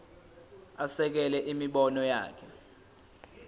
asekele imibono yakhe